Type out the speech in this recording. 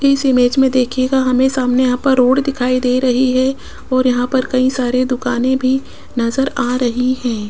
इस इमेज में देखिएगा हमें सामने यहां पर रोड दिखाई दे रही है और यहां पर कई सारे दुकाने भी नजर आ रही हैं।